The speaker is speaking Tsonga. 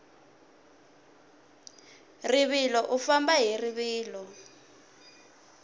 rivilo u famba hi rivilo